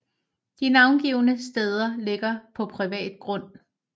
De navngivne steder ligger på privat grund